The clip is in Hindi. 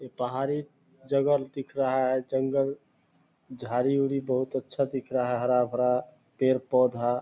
ये पहाड़ी जगह दिख रहा है जंगल झाडी-उड़ी बहुत अच्छा दिख रहा है हरा-भरा पेड़-पोधा --